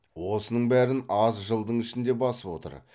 осының бәрін аз жылдың ішінде басып отыр